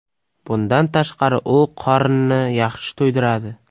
Bundan tashqari u qorinni yaxshi to‘ydiradi.